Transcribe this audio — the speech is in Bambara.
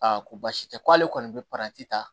ko baasi tɛ k'ale kɔni bɛ ta